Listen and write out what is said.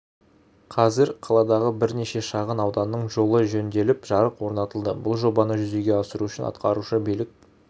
қазір қаладағы бірнеше шағын ауданның жолы жөнделіп жарық орнатылды бұл жобаны жүзеге асыру үшін атқарушы билік